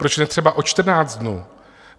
Proč ne třeba o 14 dnů?